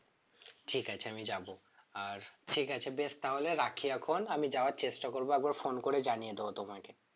ঠিক আছে আমি যাবো আর ঠিক আছে বেশ তাহলে রাখি এখন আমি যাওয়ার চেষ্টা করব একবার phone করে জানিয়ে দোবো তোমাকে